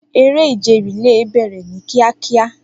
Eré ìje relay bẹ̀rẹ̀ ní kíákíá.